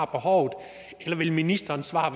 behov eller vil ministerens svar